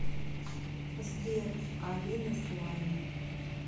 сбер алина слайм